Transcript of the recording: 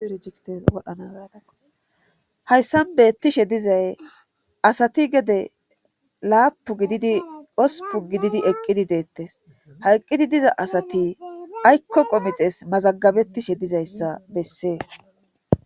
Iie dnaadahayssan beettishe dizay asati gede laapu gididi osupu gididi eqqidi deettes hayqqidi diza asati aykko qomixes mazagabetishe dizayssa bessees.